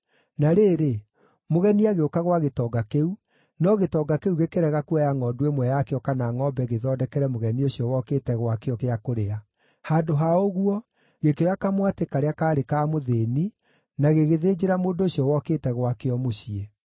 “Na rĩrĩ, mũgeni agĩũka gwa gĩtonga kĩu, no gĩtonga kĩu gĩkĩrega kuoya ngʼondu ĩmwe yakĩo kana ngʼombe gĩthondekere mũgeni ũcio wokĩte gwakĩo gĩa kũrĩa. Handũ ha ũguo, gĩkĩoya kamwatĩ karĩa kaarĩ ka mũthĩĩni na gĩgĩthĩnjĩra mũndũ ũcio wokĩte gwakĩo mũciĩ.”